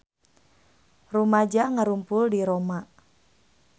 Rumaja ngarumpul di Roma